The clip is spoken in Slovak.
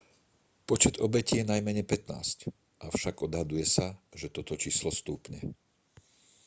počet obetí je najmenej 15 avšak odhaduje sa že toto číslo stúpne